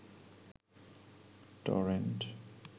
torrent